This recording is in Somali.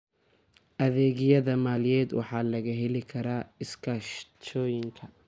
Adeegyada maaliyadeed waxaa laga heli karaa iskaashatooyinka.